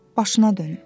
Başına dönüm.